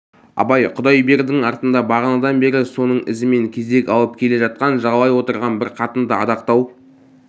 абай құдайбердінің артында бағанадан бері соның ізімен кезек алып келе жатқан жағалай отырған бар қатынды адақтау